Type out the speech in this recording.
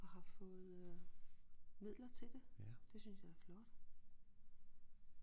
Og har fået øh midler til det det synes jeg er flot